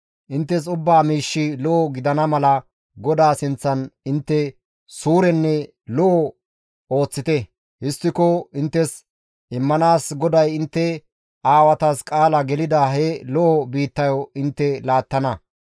Inttes ubba miishshi lo7o gidana mala GODAA sinththan intte suurenne lo7o ooththite; histtiko inttes immanaas GODAY intte aawatas qaala gelida he lo7o biittayo intte laattana.